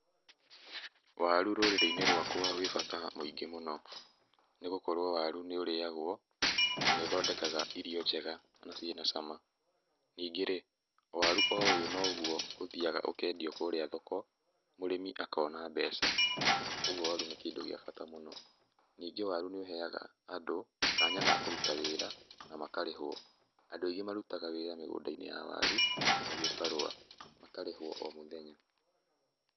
Waru rũrĩrĩ-inĩ rwaka wĩ bata mũingĩ mũno. Nĩgokorwo waru nĩũriagwo, na nĩũthondekaga irio njega, na ciĩ na cama. Ningĩ-rĩ, o waru o uyũ noguo ũthiaga ũkendio kũrĩa thoko, mũrĩmi akona mbeca. Koguo waru nĩ kĩndũ gĩa bata mũno. Ningĩ waru nĩũheaga Andũ, kanya ga kũruta wĩra na makarĩhwo. Andũ aingĩ marutaga wĩra mĩgũnda-inĩ ya waru na gĩbarũa, makarĩhwo o mũthenya.